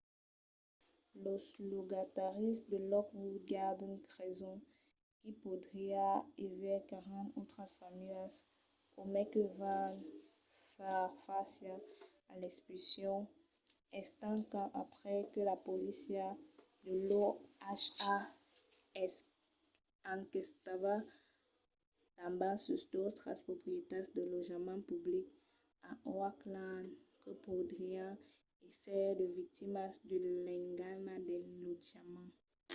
los logataris de lockwood gardens creson qu'i podriá aver 40 autras familhas o mai que van far fàcia a l'expulsion estent qu'an aprés que la polícia de l'oha enquestava tanben sus d'autras proprietats de lotjament public a oakland que podrián èsser de victimas de l'engana del lotjament